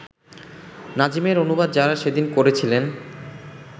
নাজিমের অনুবাদ যাঁরা সেদিন করেছিলেন